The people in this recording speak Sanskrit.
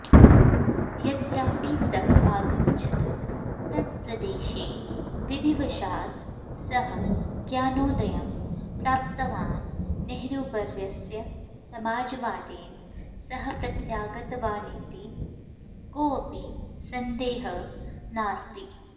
यत्रापि सः अगच्छत् तत्प्रदेशे विधिवशात् सः ज्ञानोदयं प्राप्तवान् नेहरूवर्यस्य समाजवादेन सह प्रत्यागतवानिति कोऽपि संदेहः नास्ति